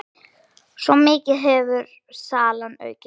Svo mikið hefur salan aukist.